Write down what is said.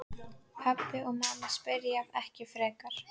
Pabbi og mamma spyrja ekki frekar.